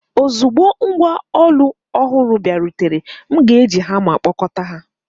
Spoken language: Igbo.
Ozugbo ngwá ụlọ ọhụrụ bịarutere, m ga-eji hama kpọkọta ha.